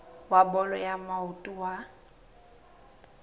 wa bolo ya maoto wa